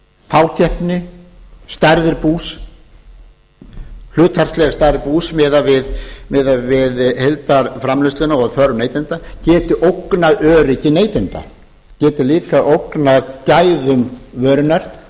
fákeppni stærð bús hlutfallsleg stærð bús miðað við heildarframleiðsluna og þörf neytenda geti ógnað öryggi neytenda geti líka ógnað gæðum vörunnar